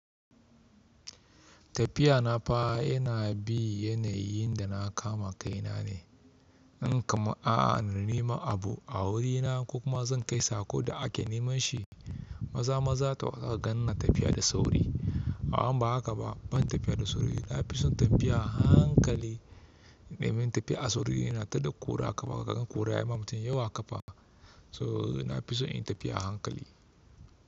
Tafiya na fa yana bi yanayin da na kama kaina ne. In kam anani ma abu a wurina, kuma zan kai sako da ake nema shi. Maza-maza ta yawa ka gan na tafiya da sauri. Amma haka ba, ban tafiya da sauri ba. Na fi son tafiya a hankali. Domin tafiya a sauri yana taɗa ƙura a ƙafa. Kaga ƙura ya ma mutum yawa ƙafa. To na fi so in yi tafiya a hankali.